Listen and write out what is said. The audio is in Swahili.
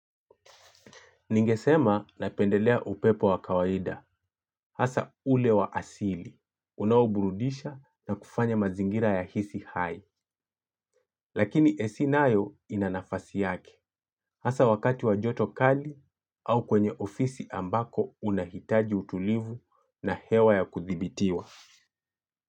Ningesema napendelea upepo wa kawaida. Hasa ule wa asili. Unaoburudisha na kufanya mazingira yahisi hai. Lakini ac nayo ina nafasi yake. Hasa wakati wa joto kali au kwenye ofisi ambako unahitaji utulivu na hewa ya kudhibitiwa.